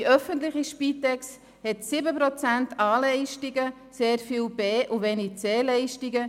Die öffentliche Spitex hat 7 Prozent A-Leistungen, sehr viel an B- und wenig an C-Leistungen.